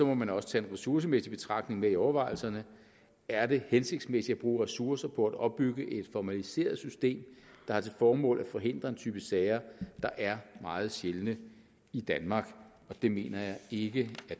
må man også tage en ressourcemæssig betragtning med i overvejelserne er det hensigtsmæssigt at bruge ressourcer på at opbygge et formaliseret system der har til formål at forhindre en type sager der er meget sjældne i danmark det mener jeg ikke